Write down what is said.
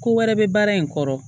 Ko wɛrɛ bɛ baara in kɔrɔ